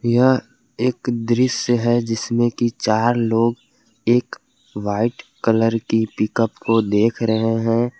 यह एक दृश्य है जिसमें की चार लोग एक वाइट कलर की पिकअप को देख रहे है।